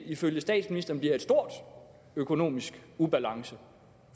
ifølge statsministeren bliver stor økonomisk ubalance for